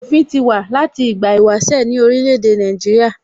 Òfin ti wà láti ìgbà ìwáṣẹ̀ ní orílè èdè Nàìjíríà